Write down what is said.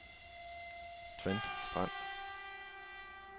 Trend Strand